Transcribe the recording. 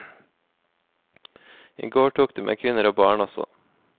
I går tok de med kvinner og barn også.